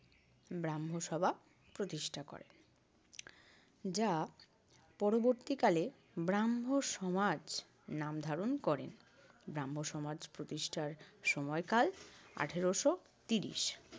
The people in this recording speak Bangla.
ব্রাহ্মসভা প্রতিষ্ঠা করেন। যা পরবর্তীকালে ব্রাহ্মসমাজ নাম ধারণ করেন। ব্রাহ্মসমাজ প্রতিষ্ঠার সময়কাল আঠারশো ত্রিশ।